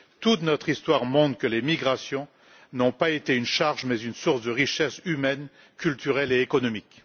Toute notre histoire montre que les migrations n'ont pas été une charge mais une source de richesses humaine, culturelle et économique.